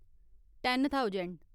ten thousand